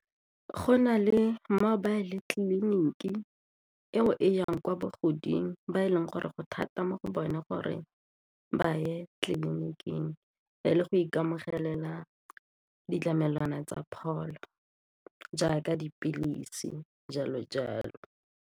Go na le mobile tleliniki eo e yang kwa bogoding ba e leng gore go thata mo go bone gore ba ye tleliniking le go ikamogela ditlamelwana tsa pholo jaaka dipilisi jalo-jalo.